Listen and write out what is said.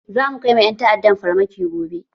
Zamu kai wa ƴan ta'addan farmaki gobe